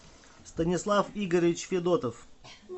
станислав игоревич федотов